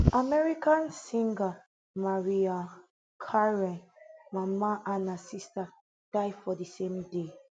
american singer mariah carey mama and her sister die for di same day